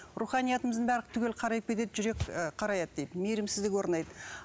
руханиятымыздың барлық түгелі қарайып кетеді жүрек ы қараяды дейді мейірімсіздік орнайды